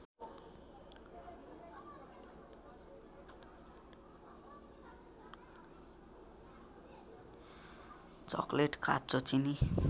chocolate काँचो चिनी